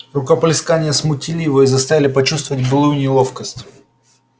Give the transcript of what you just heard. рукоплескания смутили его и заставили почувствовать былую неловкость